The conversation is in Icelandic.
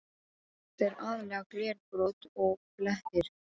Þetta er aðallega glerbrot og blettir.